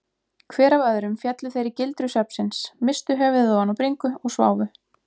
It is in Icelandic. Hver af öðrum féllu þeir í gildru svefnsins, misstu höfuðið ofan á bringu og sváfu.